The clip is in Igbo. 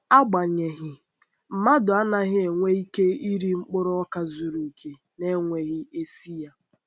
Agbanyeghị, mmadụ anaghị enwe ike iri mkpụrụ ọka zuru oke, na-enweghị esi ya.